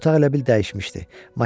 Otaq elə bil dəyişmişdi.